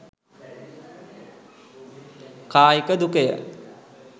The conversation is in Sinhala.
කායික දුකය.